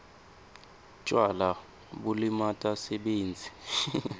tjwala bulimata sibindzi